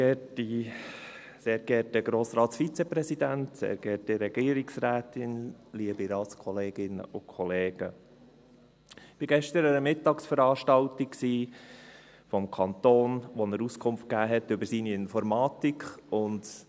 Ich war gestern an einer Mittagsveranstaltung des Kantons, in der er Auskunft über seine Informatik gab.